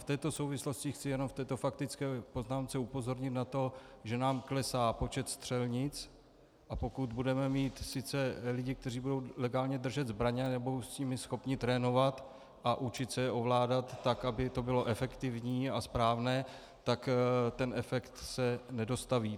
V této souvislosti chci jenom v této faktické poznámce upozornit na to, že nám klesá počet střelnic, a pokud budeme mít sice lidi, kteří budou legálně držet zbraně a nebudou s nimi schopni trénovat a učit se je ovládat, tak aby to bylo efektivní a správné, tak ten efekt se nedostaví.